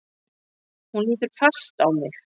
Hún lítur fast á mig.